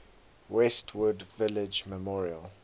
westwood village memorial